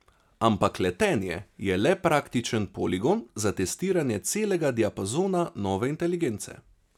Ampak letenje je le praktičen poligon za testiranje celega diapazona nove inteligence.